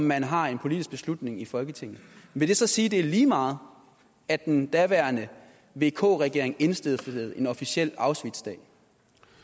man har en politisk beslutning i folketinget vil det så sige at det er lige meget at den daværende vk regering indstiftede en officiel auschwitzdag